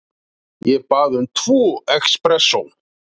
Ég bað um tvo expressó.